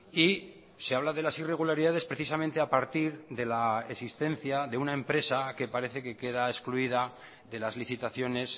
y se habla de las irregularidades precisamente a partir de la existencia de una empresa que parece que queda excluida de las licitaciones